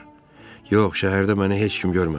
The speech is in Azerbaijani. Yox, şəhərdə məni heç kim görmədi.